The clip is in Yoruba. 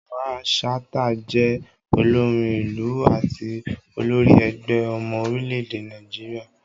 Mamman Shata jẹ́ olórin ìlù àti olórí ẹgbẹ́ ọmọ orílẹ̀-èdè Nàìjíríà.